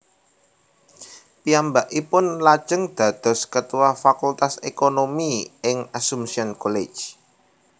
Piyambakipun lajeng dados ketua Fakultas Ekonomi ing Assumption College